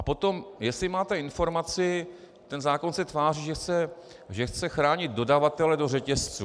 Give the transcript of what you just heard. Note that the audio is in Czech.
A potom, jestli máte informaci - ten zákon se tváří, že chce chránit dodavatele do řetězců.